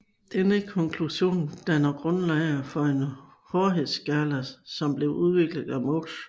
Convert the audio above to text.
Denne konklusion dannede grundlaget for den hårdhedsskala som blev udviklet af Mohs